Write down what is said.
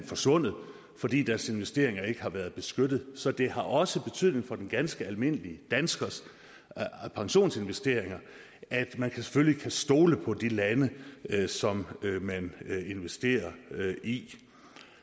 forsvundet fordi deres investeringer ikke har været beskyttet så det har også betydning for den ganske almindelige danskers pensionsinvesteringer at man selvfølgelig kan stole på de lande som man investerer i